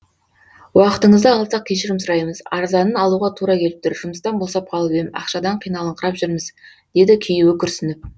уақытыңызды алсақ кешірім сұраймыз арзанын алуға тура келіп тұр жұмыстан босап қалып ем ақшадан қиналыңқырап жүрміз деді күйеуі күрсініп